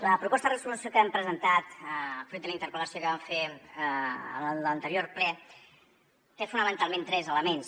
la proposta de resolució que hem presentat fruit de la interpel·lació que vam fer en l’anterior ple té fonamentalment tres elements